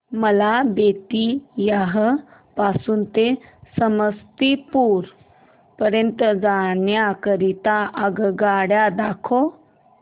मला बेत्तीयाह पासून ते समस्तीपुर पर्यंत जाण्या करीता आगगाडी दाखवा